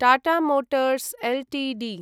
Tata Motors Ltd